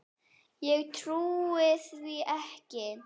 Ég trúi því ekki.